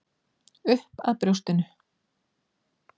Upp að brjóstinu.